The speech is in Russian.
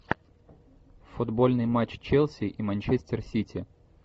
футбольный матч челси и манчестер сити